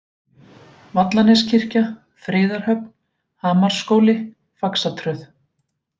Vallaneskirkja, Friðarhöfn, Hamarsskóli, Faxatröð